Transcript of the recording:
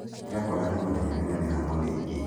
Ira kũrarĩ mũthenya wĩna mĩhang'o mĩingĩ